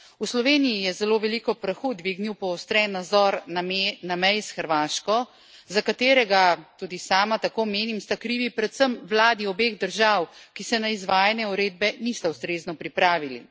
V Sloveniji je zelo veliko prahu dvignil poostren nadzor na meji s Hrvaško, za katerega tudi sama tako menim sta krivi predvsem vladi obeh držav, ki se na izvajanje uredbe nista ustrezno pripravili.